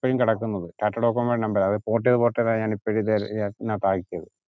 ഇപ്പോഴും കിടക്കുന്നത് ടാറ്റഡോകോമോയുടെ number രാ port ചെയ്ത് port ചെയ്ത ഞാൻ ഇപ്പോഴ് ഇതേ